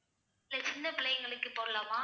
sir சின்ன பிள்ளைங்களுக்கு போடலாமா